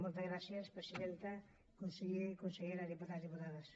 moltes gràcies presidenta conseller consellera diputats diputades